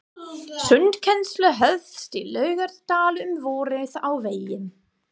Sundkennsla hófst í Laugardal um vorið á vegum